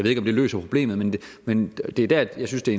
ikke om det løser problemet men men det er der at jeg synes det